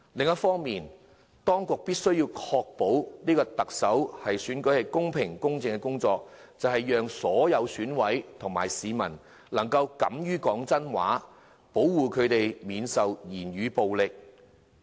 當局的工作，是要確保特首選舉公平、公正進行，讓所有選委及市民能夠敢於說真話，保護他們免受言語暴力威嚇。